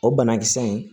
O banakisɛ in